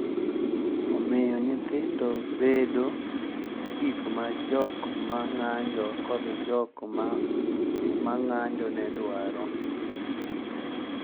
Omiyo nyithindo bedo gik ma jok ma ng’anjo kod jok ma ng’anjo ne dwaro.